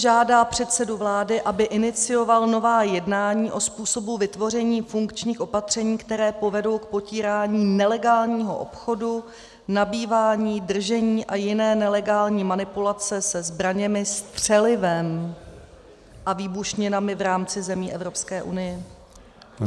Žádá předsedu vlády, aby inicioval nová jednání o způsobu vytvoření funkčních opatření, která povedou k potírání nelegálního obchodu, nabývání, držení a jiné nelegální manipulace se zbraněmi, střelivem a výbušninami v rámci zemí Evropské unie."